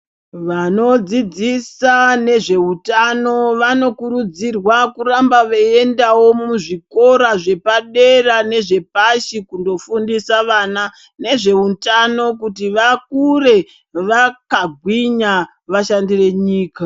Vanodzidzisa nezveutano vanokurudzirwa kuramba veiendawo muzvikora zvepadera nezvepashi kundofundisa vana nezveutano kuti vakure vakagwinya vashandire nyika.